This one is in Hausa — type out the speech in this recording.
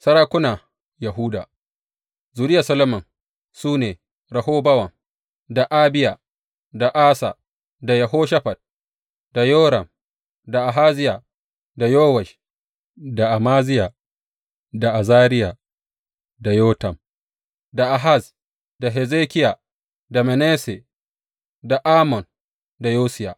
Sarakuna Yahuda Zuriyar Solomon su ne Rehobowam, da Abiya, da Asa, da Yehoshafat, da Yoram, da Ahaziya, da Yowash, da Amaziya, da Azariya, da Yotam, da Ahaz, da Hezekiya da Manasse, da Amon, da Yosiya.